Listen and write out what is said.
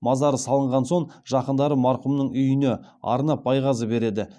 мазары салынған соң жақындары марқұмның үйіне арнап байғазы береді